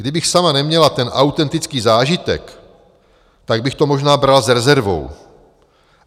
Kdybych sama neměla ten autentický zážitek, tak bych to možná brala s rezervou.